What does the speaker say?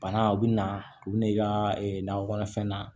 Bana u bɛna u bɛn'i ka nakɔ kɔnɔfɛn na